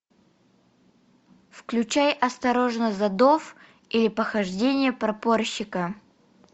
включай осторожно задов или похождения прапорщика